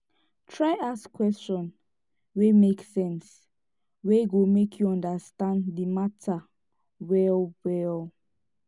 try ask question wey mek sense wey go mek yu understand the mata well well